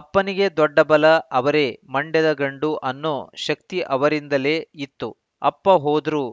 ಅಪ್ಪನಿಗೆ ದೊಡ್ಡ ಬಲ ಅವರೇ ಮಂಡ್ಯದ ಗಂಡು ಅನ್ನೋ ಶಕ್ತಿ ಅವರಿಂದಲೇ ಇತ್ತು ಅಪ್ಪ ಹೋದ್ರು